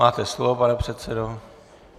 Máte slovo, pane předsedo.